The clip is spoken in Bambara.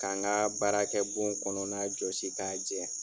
Ka n ka baarakɛ bon kɔnɔna jɔsi k'a jɛ.